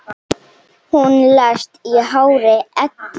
Hún lést í hárri elli.